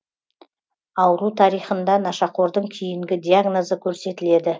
ауру тарихында нашақордың кейінгі диагнозы көрсетіледі